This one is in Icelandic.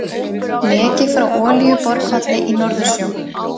Leki frá olíuborpalli í Norðursjó.